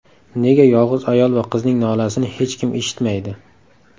Nega yolg‘iz ayol va qizning nolasini hech kim eshitmaydi?